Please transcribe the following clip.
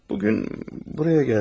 Bugün buraya gəldi.